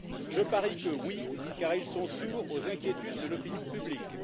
Je parie que oui, car ils sont sourds aux inquiétudes de l'opinion publique.